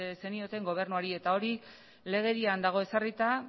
zenioten gobernuari eta hori legedian dago ezarrita